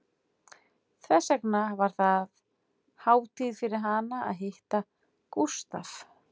Þess vegna var það hátíð fyrir hana að hitta Gústaf